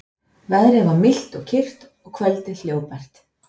Veðrið var milt og kyrrt og kvöldið hljóðbært.